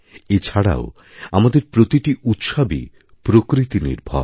এছাড়াও আমাদের প্রতিটি উৎসবই প্রকৃতিনির্ভর